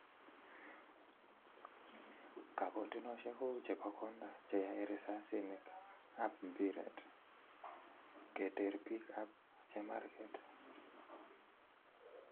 Kagotinosyiek kou chepo konda che yoe risasinik ap mpiret, keter pir ap chemarget.